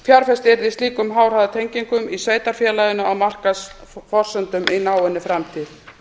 yrði í slíkum háhraðanettengingum í sveitarfélaginu á markaðsforsendum í náinni framtíð